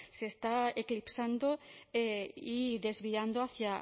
se está eclipsando y desviando hacia